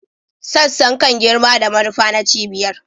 Sassan kan girma da manufa na cibiyar